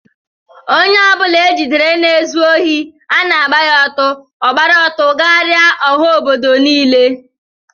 Ónyé ọbula ejidere na ịzụ ohi ana agba ya ọtọ, ogbara ọtọ gharia ọha ọbọdọ nille.